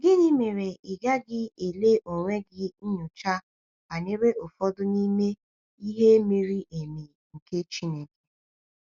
Gịnị mere ị gaghị ele onwe gị nyocha banyere ụfọdụ n’ime “ihe miri emi nke Chineke”?